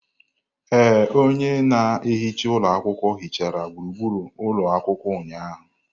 Ee, onye na-ehicga ụlọ akwụkwọ hichara gburugburu ụlọ akwụkwọ ụnyahụ.